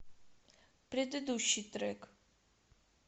предыдущий трек